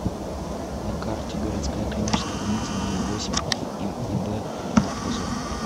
на карте городская клиническая больница номер восемь им иб однопозова